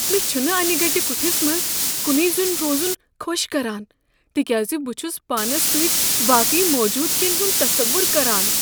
مےٚ چھنہٕ انہ گٹہ کُٹھس منٛز کنُے زوٚن روزن خۄش کران تہِ كیاز بہٕ چھس پانس سۭتۍ باقٕے موجوٗدگین ہنٛد تصور کران۔